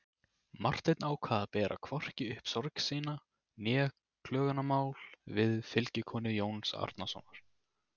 Marteinn ákvað að bera hvorki upp sorgir sínar né klögumál við fylgikonu Jóns Arasonar.